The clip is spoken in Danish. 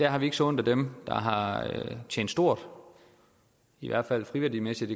har ikke så ondt af dem der har tjent stort i hvert fald friværdimæssigt